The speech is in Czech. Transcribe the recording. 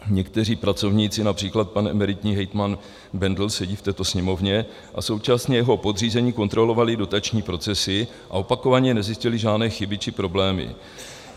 Někteří pracovníci, například pan emeritní hejtman Bendl sedí v této Sněmovně, a současně jeho podřízení kontrolovali dotační procesy a opakovaně nezjistili žádné chyby či problémy.